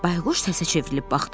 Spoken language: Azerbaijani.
Bayquş səsə çevrilib baxdı.